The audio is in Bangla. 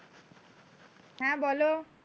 হ্যাঁ বলো।